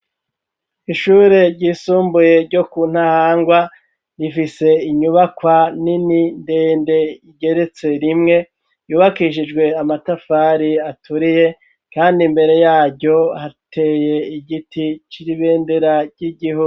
Ishure ryisumbuye ryo ku ntahangwa rifise inyubakwa nini ndende igeretse rimwe yubakishijwe amatafari aturiye, kandi imbere yaryo hateye igiti c'iribendera ry'igihuu.